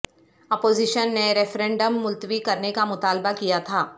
opposition نے referendum ملتوی کرنے کا مطالبہ کیا تھا